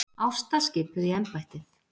Ásta skipuð í embættið